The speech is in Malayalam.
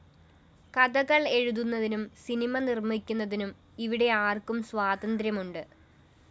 കഥ എഴുതുന്നതിനും സിനിമ നിര്‍മ്മിക്കുന്നതിനും ഇവിടെ ആര്‍ക്കും സ്വാതന്ത്ര്യമുണ്ട്